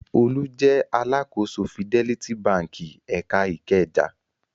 Olú jẹ alákòóso Fidelity Báńkì ẹ̀ka Ìkẹjà.